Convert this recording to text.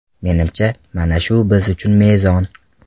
Menimcha, mana shu biz uchun mezon.